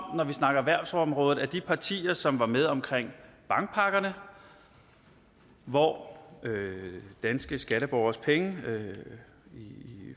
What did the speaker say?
vi snakker erhvervsområdet at de partier som var med omkring bankpakkerne hvor danske skatteborgeres penge i